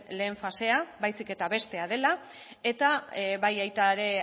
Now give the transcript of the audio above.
lehen fasea baizik eta bestea dela eta baita ere